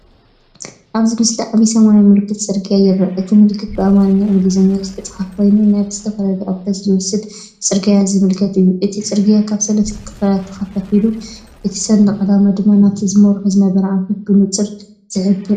ኣብዚ ምስሊ ዓቢ ሰማያዊ ምልክት ጽርግያ ይርአ እቲ ምልክት ብኣምሓርኛን እንግሊዝኛን ዝተጻሕፈ ኮይኑ ናብ ዝተፈላለየ ኣንፈት ዝወስዱ ጽርግያታት ዘመልክት እዩ። እቲ ጽርግያ ኣብ ሰለስተ ክፋላት ተኸፋፊሉ፡እቲ ሰንደቕ ዕላማ ድማ ናብቲ ዝመርሖ ዝነበረ ኣንፈት ብንጹር ዝሕብር እዩ።